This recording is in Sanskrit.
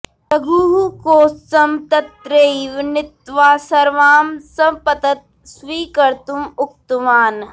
रघुः कौत्सं तत्रैव नीत्वा सर्वां सम्प्तत् स्वीकर्तुम् उक्तवान्